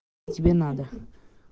тебе надо